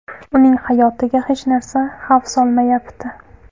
Uning hayotiga hech narsa xavf solmayapti.